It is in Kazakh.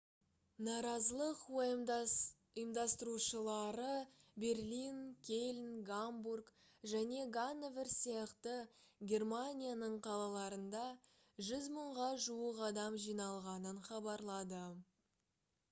наразылық ұйымдастырушылары берлин кельн гамбург және ганновер сияқты германияның қалаларында 100 мыңға жуық адам жиналғанын хабарлады